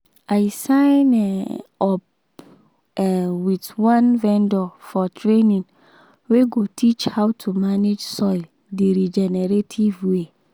i sign um up um with one vendor for training wey go teach how to manage soil the regenerative way.